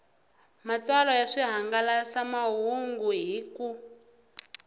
matsalwa ya swihangalasamahungu hi ku